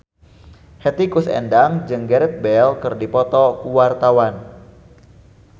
Hetty Koes Endang jeung Gareth Bale keur dipoto ku wartawan